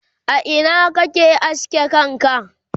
a Ina kake aske kanka?